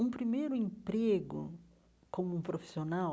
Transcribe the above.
Um primeiro emprego como um profissional